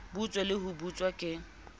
butswe le ho butswa ke